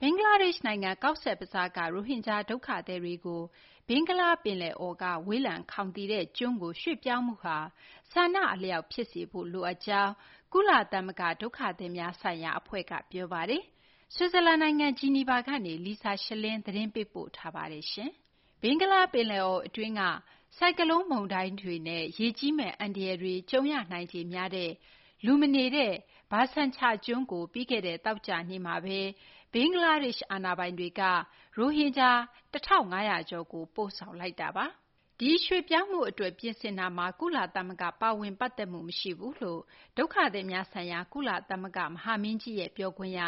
ဘင်္ဂလားဒေရှ့်နိုင်ငံ Cox’s Bazar က ရိုဟင်ဂျာ ဒုက္ခသည်တွေကို ဘင်္ဂလားပင်လယ်အော်က ဝေးလံခေါင်သီတဲ့ ကျွန်းကို ရွှေ့ပြောင်းမှုဟာ ဆန္ဒအလျောက် ဖြစ်စေဖို့ လိုအပ်ကြောင်း ကုလသမဂ္ဂ ဒုက္ခသည်များဆိုင်ရာ အဖွဲ့က ပြောပါတယ်။ ဆွစ်ဇာလန်နိုင်ငံ ဂျီနီဗာကနေ Lisa Schlein သတင်းပေးပို့ထားတာကို မသိင်္ဂီထိုက် တင်ပြပေးထားပါတယ်။ ဘင်္ဂလားပင်လယ်အော်အတွင်းက ဆိုင်ကလုန်းမုန်တိုင်းတွေနဲ့ ရေကြီးမယ့် အန္တရာယ်တွေ ကြုံရနိုင်ခြေများတဲ့ လူမနေတဲ့ Bhasan Char ကျွန်းကို ပြီးခဲ့တဲ့ သောကြာနေ့မှာပဲ ဘင်္ဂလားဒေ့ရှ် အာဏာပိုင်တွေက ရိုဟင်ဂျာ ၁,၅၀၀ ကျော်ကို ပို့ဆောင်လိုက်တာပါ။ ဒီရွှေ့ပြောင်းမှုအတွက် ပြင်ဆင်မှုမှာ ကုလသမဂ္ဂ ပါဝင်ပတ်သက်မှု မရှိဘူးလို့ ဒုက္ခသည်များဆိုင်ရာ ကုလသမဂ္ဂ မဟာမင်းကြီးရဲ့ ပြောခွင့်ရ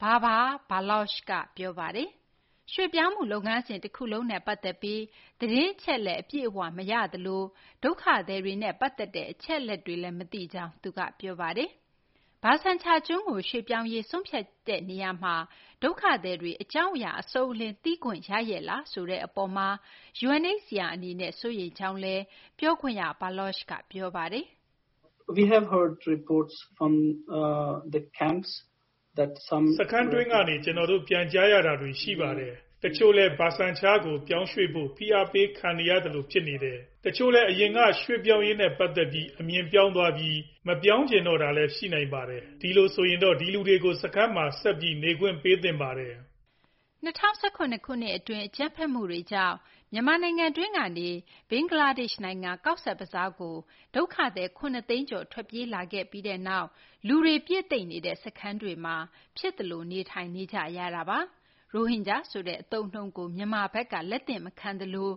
Babar Baloch က ပြောပါတယ်။ ရွှေ့ပြောင်းမှုလုပ်ငန်းစဉ် တခုလုံးနဲ့ ပတ်သက်ပြီး သတင်းအချက်အလက် အပြည့်အဝ မရသလို ဒုက္ခသည်တွေနဲ့ ပတ်သက်တဲ့ အချက်အလက်တွေလည်း မသိကြောင်း သူကပြောပါတယ်။ Bhasan Char ကျွန်းကို ရွှေ့ပြောင်းရေး ဆုံးဖြတ်ချက်ချတဲ့ နေရာမှာ ဒုက္ခသည်တွေ အကြောင်းအရာ အစုံအလင် သိခွင့်ရခဲ့ရဲ့လား ဆိုတဲ့အပေါ်မှာ UNHCR အနေနဲ့ စိုးရိမ်ကြောင်း ပြောခွင့်ရ Baloch က ပြောပါတယ်။ “စခန်းတွင်းကနေ ကျနော်တို့ ပြန်ကြားရတာတွေ ရှိပါတယ်။ တချို့လည်း Bhasan Char ကို ရွှေ့ဖို့ ဖိအားပေးခံနေရသလို ဖြစ်နေတယ်၊ တချို့လည်း အရင်က ရွှေ့ပြောင်းရေးနဲ့ ပတ်သက်ပြီး အမြင်ပြောင်းသွားပြီး မပြောင်းချင်တော့တာမျိုးလည်း ရှိနိုင်ပါတယ်။ ဒီလိုဆိုရင်တော့ ဒီလူတွေကို စခန်းမှာ ဆက်ပြီး နေခွင့်ပေးသင့်ပါတယ်။” ၂၀၁၇ ခုနှစ်အတွင်း အကြမ်းဖက်မှုတွေကြောင့် မြန်မာနိုင်ငံတွင်းကနေ ဘင်္ဂလားဒေ့ရှ်နိုင်ငံ Cox’s Bazar ကို ဒုက္ခသည် ၇ သိန်းကျော် ထွက်ပြေးလာခဲ့ပြီးနောက် လူတွေပြည့်သိပ်နေတဲ့ စခန်းတွေမှာ ဖြစ်သလို နေထိုင်နေကြရတာပါ။ ရိုဟင်ဂျာဆိုတဲ့ အသုံးအနှုန်းကို မြန်မာဘက်က လက်သင့်မခံသလို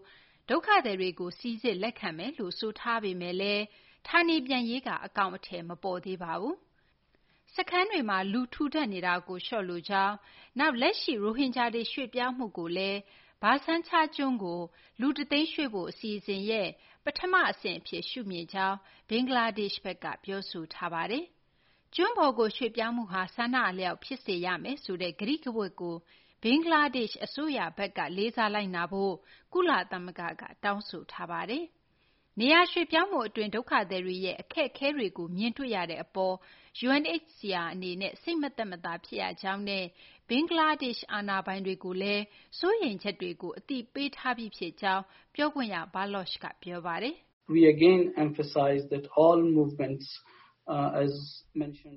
ဒုက္ခသည်တွေကို စိစစ်လက်ခံမယ် ဆိုထားပေမယ့်လည်း ဌာနေပြန်ရေးက အကောင်အထည် မပေါ်သေးပါဘူး။ စခန်းတွေမှာ လူထူထပ်နေတာကို လျှော့လိုကြောင်း၊ လက်ရှိ ရိုဟင်ဂျာတွေ ရွှေ့ပြောင်းမှုကို Bhasan Char ကျွန်းကို လူ ၁ သိန်းရွှေ့ဖို့ အစီအစဉ်ရဲ့ ပထမအဆင့်အဖြစ် ရှုမြင်ကြောင်း ဘင်္ဂလားဒေ့ရှ်ဘက်က ပြောဆိုထားပါတယ်။ ကျွန်းပေါ်ကို ရွှေ့ပြောင်းမှုဟာ ဆန္ဒအလျောက် ဖြစ်စေရမယ်ဆိုတဲ့ ကတိကဝတ်ကို ဘင်္ဂလားဒေ့ရှ် အစိုးရဘက်က လေးစားလိုက်နာဖို့ ကုလသမဂ္ဂက တောင်းဆိုထားပါတယ်။ နေရာရွှေ့ပြောင်းမှုအတွင်းမှာ ဒုက္ခသည်တွေရဲ့ အခက်အခဲတွေကို မြင်တွေ့ရတဲ့အပေါ် UNHCR အနေနဲ့ စိတ်မသက်မသာ ဖြစ်ရကြောင်းနဲ့ ဘင်္ဂလားဒေ့ရှ် အာဏာပိုင်တွေကိုလည်း စိုးရိမ်ချက်တွေကို အသိပေးထားပြီးဖြစ်ကြောင်း ပြောခွင့်ရ Baloch က ပြောပါတယ်။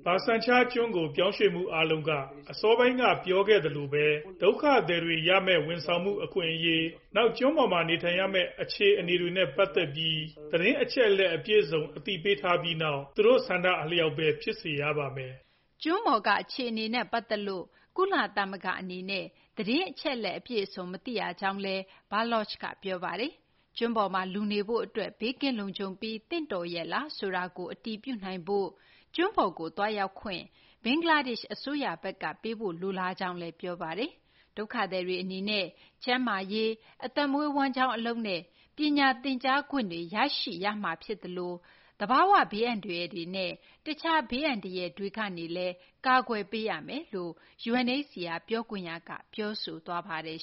“Bhasan Char ကျွန်းကို ရွှေ့ပြောင်းမှုအားလုံးက အစောပိုင်းက ပြောခဲ့သလိုပဲ ဒုက္ခသည်တွေရမယ့် ဝန်ဆောင်မှု အခွင့်အရေး၊ နောက် ကျွန်းပေါ်မှာ နေထိုင်ရမယ့် အခြေအနေတွေနဲ့ ပတ်သက်ပြီး သတင်းအချက်အလက် အပြည့်အစုံနဲ့ အသိပေးထားပြီးနောက် သူတို့ဆန္ဒအလျောက်ပဲ ဖြစ်စေရပါမယ်။” ကျွန်းပေါ်က အခြေအနေနဲ့ ပတ်သက်လို့ ကုလသမဂ္ဂအနေနဲ့ သတင်းအချက်အလက် အပြည့်အစုံ မသိရကြောင်းလည်း Baloch က ပြောပါတယ်။ ကျွန်းပေါ်မှာ လူနေဖို့အတွက် ဘေးကင်းလုံခြုံပြီး သင့်တော်ရဲ့လား ဆိုတာကို အတည်ပြုနိုင်ရေးအတွက် ကျွန်းပေါ်ကို သွားရောက်ခွင့် ဘင်္ဂလားဒေ့ရှ် အစိုးရဘက်က ပေးဖို့ လိုလားကြောင်းလည်း ပြောပါတယ်။ ဒုက္ခသည်တွေအနေနဲ့ ကျန်းမာရေး၊ အသက်မွေးဝမ်းကျောင်း အလုပ်နဲ့ ပညာသင်ကြားခွင့်တွေ ရရှိစေရမှာဖြစ်သလို သဘာဝဘေးအန္တရာယ်တွေနဲ့ တခြား ဘေးအန္တရာယ်တွေကနေလည်း ကာကွယ်ပေးရမယ်လို့ UNHCR ပြောခွင့်ရက ပြောဆိုသွားပါတယ်